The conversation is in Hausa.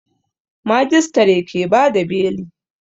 Majistare ke bada beli